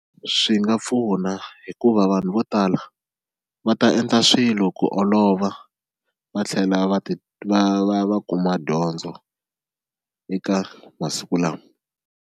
Swi nga pfuna hikuva vanhu vo tala va ta endla swilo ku olova va tlhela va ti va va va kuma dyondzo eka masiku lama.